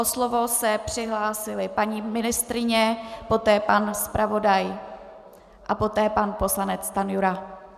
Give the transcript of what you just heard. O slovo se přihlásila paní ministryně, poté pan zpravodaj a poté pan poslanec Stanjura.